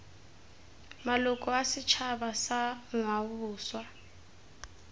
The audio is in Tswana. maloko a setšhaba sa ngwaoboswa